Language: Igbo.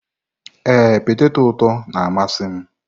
Ee, peteto ụtọ na-amasị m.